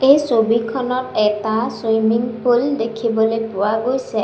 এই ছবিখনত এটা চুইমিং পুল দেখিবলৈ পোৱা গৈছে।